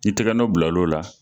N'i tigɛ nɔ bil'o la